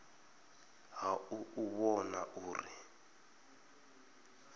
ha u u vhona uri